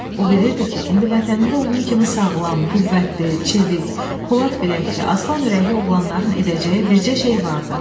O bilirdi ki, indi vətənində onun kimi sağlam, qüvvətli, çevik, polad biləkli, aslan ürəkli oğlanların edəcəyi bircə şey vardı.